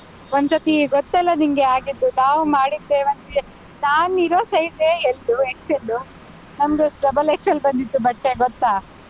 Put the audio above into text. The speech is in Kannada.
ಒಂದ್ಸತ್ತಿ ಗೊತ್ತಲ್ಲ ನಿಂಗೆ ಆಗಿದ್ದು, ನಾವು ಮಾಡಿದ್ದೇ ಒಂದು, ನಾನಿರೋ size L, XL ನಮ್ದು double XL ಬಂದಿತ್ತು ಬಟ್ಟೆ ಗೊತ್ತಾ?